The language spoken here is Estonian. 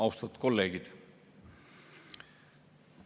Austatud kolleegid!